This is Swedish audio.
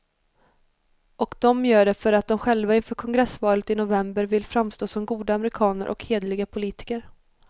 Och de gör det för att de själva inför kongressvalen i november vill framstå som goda amerikaner och hederliga politiker.